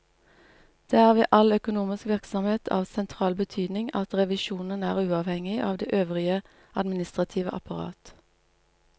Det er ved all økonomisk virksomhet av sentral betydning at revisjonen er uavhengig av det øvrige administrative apparat.